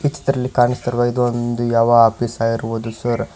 ಈ ಚಿತ್ರದಲ್ಲಿ ಕಾಣಿಸುತ್ತಿರುವ ಇದು ಒಂದು ಯಾವ ಆಫೀಸ್ ಆಗಿರಬಹುದು ಸರ್ .